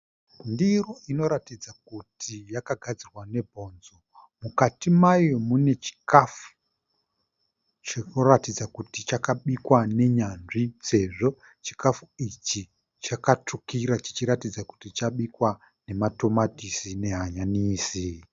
Ndiro inoratidza kuti yakagadzirwa nebhonzo. Mukati mayo mune chikafu chirikuratidza kuti chakabikwa nenyanzvi sezvo chikafu ichi chakatsvukira chichiratidza kuti chabikwa nematomatisi nehanyanisi.